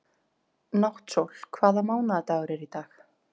Náttsól, hvaða mánaðardagur er í dag?